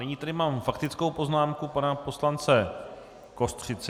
Nyní tady mám faktickou poznámku pana poslance Kostřici.